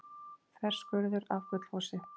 Þverskurður af Gullfossi.